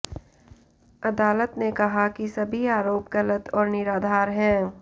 अदालत ने कहा कि सभी आरोप गलत और निराधार है